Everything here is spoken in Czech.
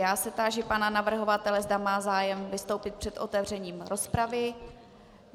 Já se táži pana navrhovatele, zda má zájem vystoupit před otevřením rozpravy.